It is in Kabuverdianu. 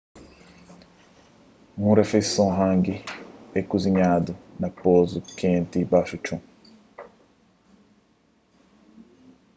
un rifeison hangi é kuzinhadu na posu kenti baxu txon